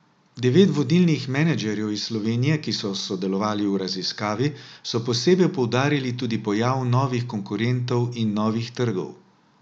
Devet vodilnih menedžerjev iz Slovenije, ki so sodelovali v raziskavi, so posebej poudarili tudi pojav novih konkurentov in novih trgov.